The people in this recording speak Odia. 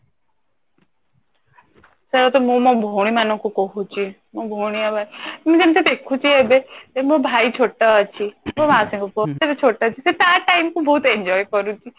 ସେଯା ତ ମୁଁ ମୋ ଭଉଣୀ ମାନଙ୍କୁ କହୁଛି ମୋ ଭଉଣୀ ଆଉ ମୁଁ ଯେମିତି ଦେଖୁଛି ଏବେ ମୋ ଭାଇ ଛୋଟ ଅଛି ସେ ତା ଟାଇମ କୁ ବହୁତ enjoy କରୁଛି